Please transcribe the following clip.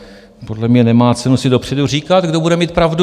Podle mě nemá cenu si dopředu říkat, kdo bude mít pravdu.